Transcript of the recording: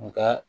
Nga